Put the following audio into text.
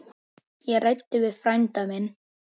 Ég ræddi við frænda minn.